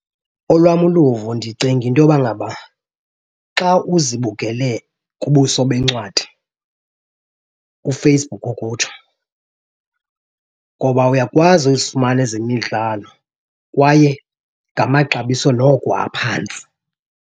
Olwam uluvo, ndicinga into yoba ngaba xa uzibukele kubuso bencwadi, uFacebook ukutsho, ngoba uyakwazi uzifumana ezemidalo kwaye ngamaxabiso noko aphantsi.